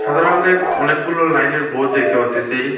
সাদা রঙ্গের অনেকগুলো লাইনের বোর্ড দেখতে পারতেসি।